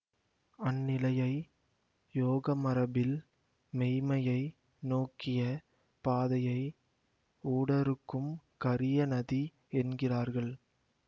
அந்நிலையை யோகமரபில் மெய்மையை நோக்கிய பாதையை ஊடறுக்கும் கரிய நதி என்கிறார்கள்